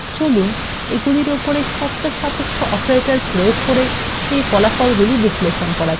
চলুন এগুলির ওপরে শর্তসাপেক্ষ অপারেটরদের প্রয়োগ করে সেই ফলাফলগুলি বিশ্লেষণ করা যাক